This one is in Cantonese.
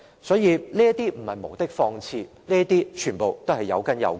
因此，這些並非無的放矢，全部也是有根有據的。